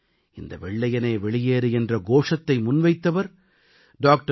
ஆனால் இந்த வெள்ளையனே வெளியேறு என்ற கோஷத்தை முன்வைத்தவர் டா